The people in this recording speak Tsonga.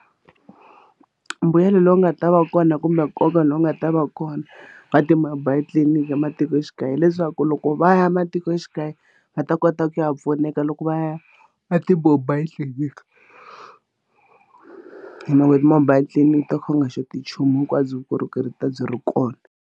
Mbuyelo lowu nga ta va kona kumbe nkoka lowu nga ta va kona ka ti-mobile clinic ematikoxikaya leswaku loko va ya matikoxikaya va ta kota ku ya pfuneka loko va ya na ti-mobile clinic mobile tliliniki to kha u nga xoti nchumu hinkwabyo vukorhokeri byi ta byi ri kona.